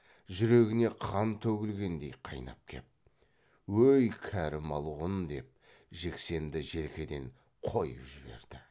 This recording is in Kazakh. жүрегіне қан төгілгендей қайнап кеп өй кәрі малғұн деп жексенді желкеден қойып жіберді